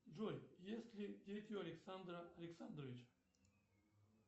джой есть ли дети у александра александровича